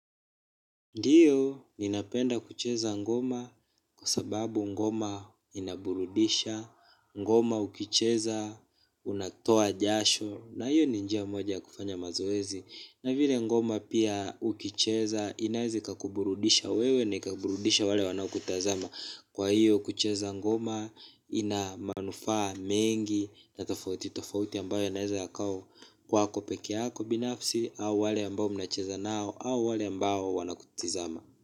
Ndiyo, ninapenda kucheza ngoma kwa sababu ngoma inaburudisha, ngoma ukicheza, unatoa jasho, na hiyo ni njia moja ya kufanya mazoezi. Na vile ngoma pia ukicheza, inaeza ikakuburudisha wewe ni kaburudisha wale wanaokutazama. Kwa hiyo kucheza ngoma ina manufaa mengi na tofauti tofauti ambayo naeza yakawa kwako peke yako binafsi au wale ambao mnacheza nao au wale ambao wanakutizama.